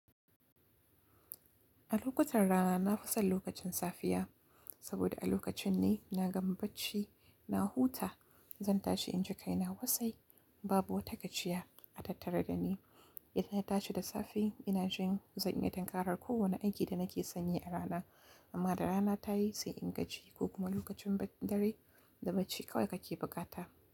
A lokutan rana na fi son lokacin safiya saboda a lokacin ne na gama bacci na huta. Zan tashi in ji kaina wasai, babu wata gajiya a tattare da ni. Idan na tashi da safe ina jin zan iya tunkarar kowane aiki da nake sanyi a rana. Amma da rana ta yi sai in gaji ko kuma lokacin dare da bacci kawai kake bukata.